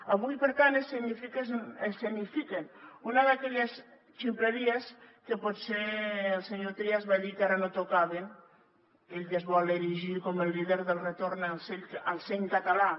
avui per tant escenifiquen una d’aquelles ximpleries que potser el senyor trias va dir que ara no tocava aquell que es vol erigir com el líder del retorn al seny català